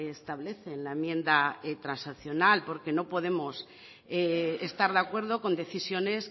establece en la enmienda transaccional porque no podemos estar de acuerdo con decisiones